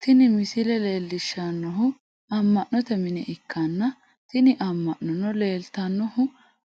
Tini misile leellishshannohu amma'note mine ikkanna, tini amma'nono leeltannohu